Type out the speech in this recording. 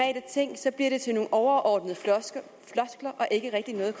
ind til nogle overordnede floskler og ikke rigtig noget